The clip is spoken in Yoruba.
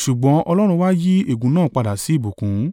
(Ṣùgbọ́n Ọlọ́run wa yí ègún náà padà sí ìbùkún.)